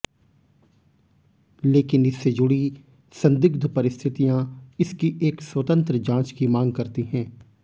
लेकिन इससे जुड़ी संदिग्ध परिस्थितियां इसकी एक स्वतंत्र जांच की मांग करती हैं